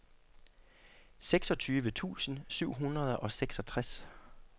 seksogtyve tusind syv hundrede og seksogtres